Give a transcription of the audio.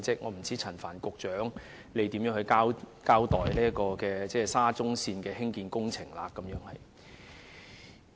我不知道陳帆局長會如何交代沙中線的工程問題。